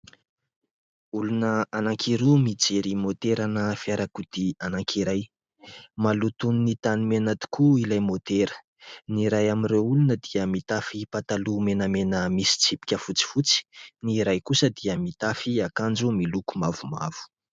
Olona anankiroa mijery moterana fiarakodia anankiray. Maloton'ny tanimena tokoa ilay motera, ny iray amin'ireo olona dia mitafy pataloha menamena misy tsipika fotsifotsy, ny iray kosa dia mitafy akanjo miloko mavomavo.